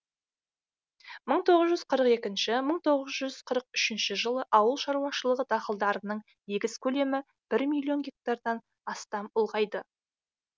мың тоғыз жүз қырық екінші мың тоғыз жүз қырық үшінші жылы ауыл шаруашылығы дақылдарының егіс көлемі бір миллион гектардан астам ұлғайды